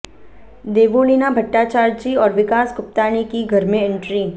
देवोलीना भट्टाचार्जी और विकास गुप्ता ने की घर में एंट्री